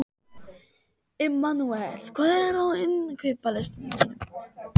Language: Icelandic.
Immanúel, hvað er á innkaupalistanum mínum?